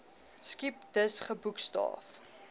skip dus geboekstaaf